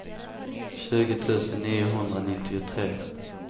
tjugo tusen niohundranittiotre